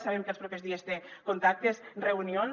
sabem que els propers dies té contactes reunions